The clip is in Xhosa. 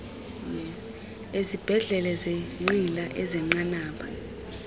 izibhedlele zeenqila ezenqanaba